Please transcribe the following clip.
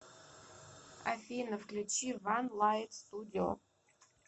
афина включи ван лайт студио